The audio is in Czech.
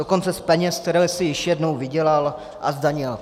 Dokonce z peněz, které jsi již jednou vydělal a zdanil.